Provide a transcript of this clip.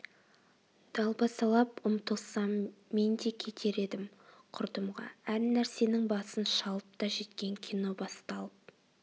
далбасалап ұмтылсам мен де кетер едім құрдымға әр нәрсенің басын шалып та жеткен кино басталып